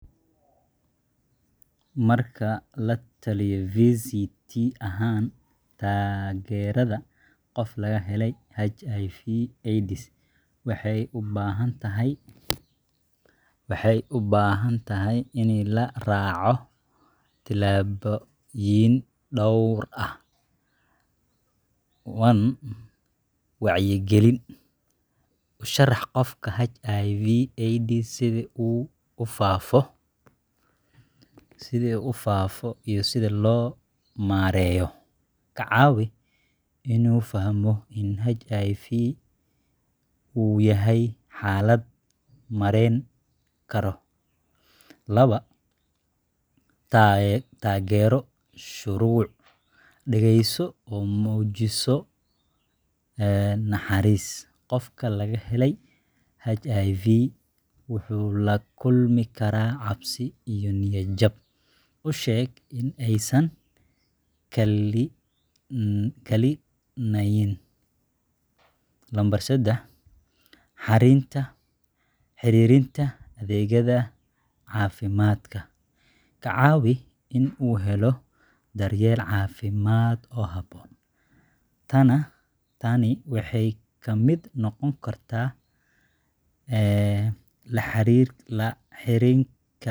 Marka la-taliye VCT ahaan, taageerada qof laga helay HIV/AIDS waxay u baahan tahay in la raaco tillaabooyin dhowr ah: 1. **Wacyigelin**: U sharax qofka HIV/AIDS, sida uu u faafayo, iyo sida loo maareeyo. Ka caawi in uu fahmo in HIV uu yahay xaalad maareyn karo. 2. **Taageero Shucuur**: Dhageyso oo muujiso naxariis. Qofka laga helay HIV wuxuu la kulmi karaa cabsi iyo niyad jab. U sheeg in aysan kalinayn. 3. **Xiriirinta Adeegyada Caafimaadka**: Ka caawi in uu helo daryeel caafimaad oo habboon. Tani waxay ka mid noqon kartaa la xiriirka dhakhtarka, helitaanka.